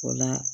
O la